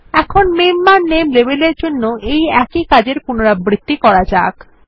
এখন মেম্বার নামে লেবেল এর জন্য এই একই কাজের পুনরাবৃত্তি করা যাক